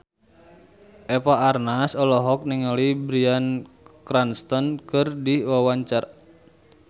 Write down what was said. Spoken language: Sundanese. Eva Arnaz olohok ningali Bryan Cranston keur diwawancara